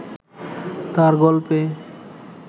তাঁর গল্পে